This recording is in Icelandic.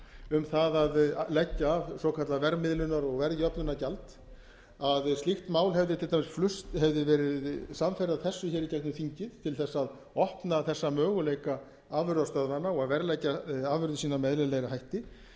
um það að leggja af svokallað verðmiðlunar og verðjöfnunargjald að slíkt mál hefði til dæmis flust hefði verið samferða þessu hér í gegnum þingið til þess að opna þessa möguleika afurðastöðvanna á að verðleggja afurðir sínar með eðlilegri hætti